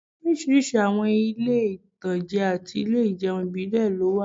Oríṣiríṣi àwọn ilé-ìtańjẹ àti ilé ìjẹun ìbílẹ̀ ló wà